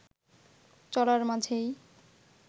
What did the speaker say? চলার মাঝেই